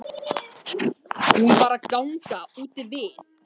Hún var að ganga úti við.